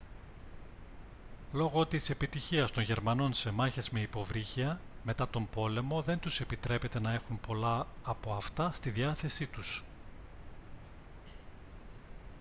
λόγω της επιτυχίας των γερμανών σε μάχες με υποβρύχια μετά τον πόλεμο δεν τους επιτρέπεται να έχουν πολλά από αυτά στη διάθεσή τους